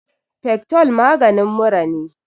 fectol maganin mura ne